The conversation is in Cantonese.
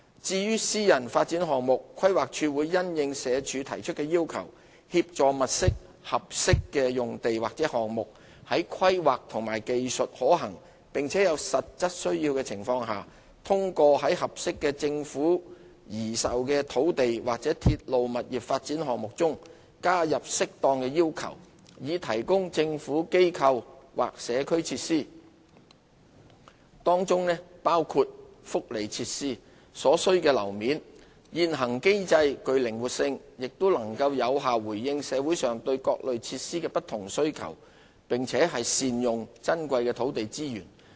至於私人發展項目，規劃署會因應社署提出的要求，協助物色合適的用地或項目，在規劃及技術可行並且有實質需要的情況下，通過在合適的政府擬售土地或鐵路物業發展項目中，加入適當的要求以提供政府、機構或社區設施，當中包括福利設施所需的樓面。現行機制具靈活性，亦能有效回應社會上對各類設施的不同需求，並善用珍貴的土地資源。